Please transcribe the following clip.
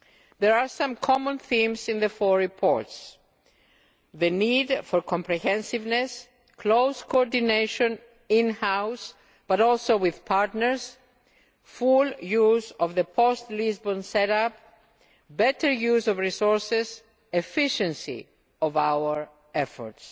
There are some common themes in the four reports the need for comprehensiveness, close coordination in house, but also with partners, full use of the post Lisbon set up, better use of resources and the efficiency of our efforts.